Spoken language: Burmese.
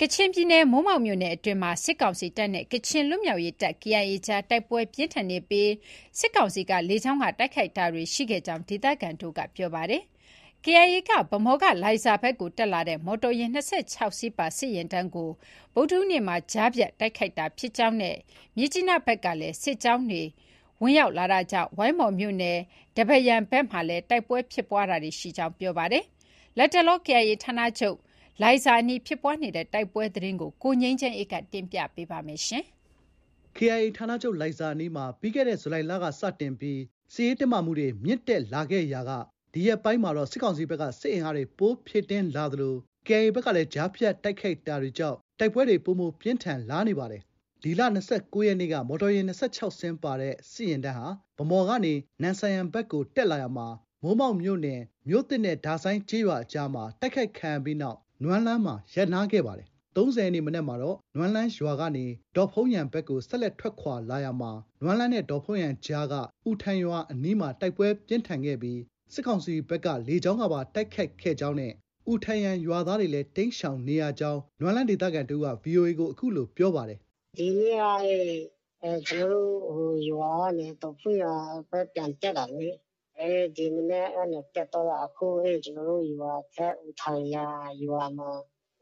ကချင်ပြည်နယ် မိုးမောက်မြို့နယ်မှာ စစ်ကောင်စီတပ်နဲ့ ကချင်လွတ်မြောက်ရေးတပ် KIA ကြား တိုက်ပွဲပြင်းထန်နေပြီး စစ်ကောင်စီကလေကြောင်းကတိုက်ခိုက်ခဲ့ကြောင်း ဒေသခံတွေကပြောပါတယ်။ ဗန်းမော်ကလိုင်ဇာဘက်ကိုတက်လာတဲ့ မော်တော်ယာဉ် ၂၆ စီးပါ စစ်ယာဉ်တန်းကို ဗုဒ္ဓဟူးနေ့က KIA က ကြားဖြတ်တိုက်ခိုက်တာဖြစ်ကြောင်းနဲ့ မြစ်ကြီးနားဘက်ကလည်း စစ်ကြောင်းတွေဝင်ရောက်လာတာကြောင့် ဝိုင်းမော်မြို့နယ် ဒဘတ်ယန်ဘက်မှာလည်း တိုက်ပွဲဖြစ်နေကြောင်းပြောပါတယ်။ လတ်တလော KIA ဌာနချုပ်လိုင်ဇာအနီး တိုက်ပွဲသတင်းကို -ကိုငြိမ်းချမ်းအေးက တင်ပြပေးထားပါတယ်။ KIA ဌာနချုပ်လိုင်ဇာအနီးမှာ ပြီးခဲ့တဲ့ ဇူလိုင်လကစတင်ပြီးစစ်ရေးတင်းမာလာခဲ့ရာက ဒီရက်ပိုင်းမှာတော့ စစ်ကောင်စီဘက်ကစစ်အင်အားတွေ ပိုမို ဖြည့်တင်းလာသလို KIA ဘက်ကလည်း ကြားဖြတ်တိုက်ခိုက်တာကြောင့် တိုက်ပွဲတွေ ပိုမို ပြင်းထန်လာနေပါတယ်။ ဒီလ ၂၉ရက်နေ့က မော်တော်ယာဉ် ၂၆ စီးပါတဲ့ စစ်ယာဉ်တန်းဟာ ဗန်းမော်ကနေ နမ့်ဆန်ယန်ဘက်ကို တက်လာရာမှာ မိုးမောက်မြို့နယ် မြို့သစ်နဲ့ ဒါဆိုင်းကျေးရွာအကြားမှာ တိုက်ခိုက်ခံရပြီးနောက် နွမ်းလန်းမှာ ရပ်နားခဲ့ပါတယ်။ ၃၀ ရက်နေ့မနက်မှာတော့ နွမ်းလန်းရွာကနေ ဒေါ့ဖုန်းယန်ဘက်ကို ဆက်လက်ထွက်ခွာလာရာမှာ နွမ်းလန်းနဲ့ ဒေါ့ဖုန်းယံအကြားက အူထန်ယန်ရွာအနီးမှာ တိုက်ပွဲပြင်းထန်ခဲ့ပြီး စစ်ကောင်စီဘက်က လေကြောင်းက ပါ တိုက်ခိုက်ခဲ့ကြောင်းနဲ့ အူထန်ယန်ရွာသားတွေလည်း တိမ်းရှောင်နေရကြောင်း နွမ်းလန်းဒေသခံတဦးက VOA ကို အခုလို ပြောပါတယ်။ “ဒီနေ့က ကျနော်တို့ရွာကနေ ဒေါ့ဖုန်းယန်ဘက် ပြန်တက်တာလေ။ ဒီမနက်ကနေတက်သွားတာ ကျနော်တို့ရွာအထက် အူထန်ယန်ရွာမှာ